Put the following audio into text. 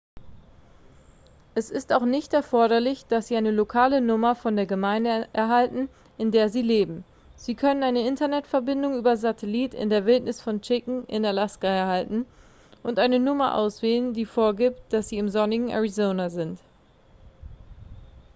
es ist auch nicht erforderlich dass sie eine lokale nummer von der gemeinde erhalten in der sie leben sie können eine internetverbindung über satellit in der wildnis von chicken in alaska erhalten und eine nummer auswählen die vorgibt dass sie im sonnigen arizona sind